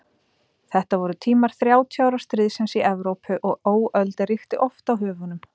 Þetta voru tímar Þrjátíu ára stríðsins í Evrópu og óöld ríkti oft á höfunum.